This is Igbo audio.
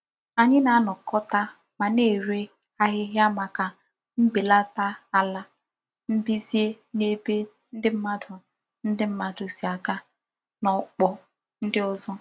Anyi na-anakota ma na-ere ahihia maka mbelata ala mbize n'ebe ndi mmadu ndi mmadu si aga na okpo ndi ozo.